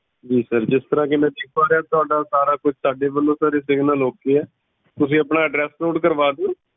ਜੀ sir ਜਿਸ ਤਰਾਂ ਮੈਂ ਦੇਖ ਪਾ ਰਿਹਾ ਆ ਤੁਹਾਡਾ ਸਾਰਾ ਕੁਝ ਸਾਡੇ ਵੱਲੋਂ ਤਾਂ ਓਕੇ ਹੈ ਤੁਸੀਂ ਆਪਣਾ address note ਕਰਵਾ ਦਿਓ।